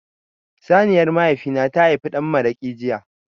Saniyar mahaifi na ta haifi dan maraƙi jiya.